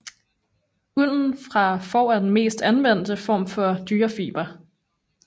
Ulden fra får er den mest anvendte form for dyrefiber